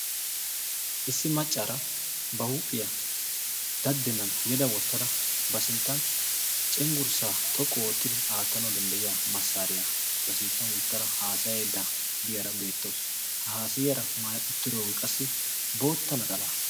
Issi maccaara ba huuphiyaa daddenan yeda wottada ba sinttan cenggurssaa xoqqu oottidi aattanau dandda'iya massaariyaa ba sinttan wottada haasayeedda diyaara beettoos ha haasayiyaara maaya uttiroogee qassi bootta naxala.